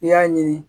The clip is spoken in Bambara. I y'a ɲini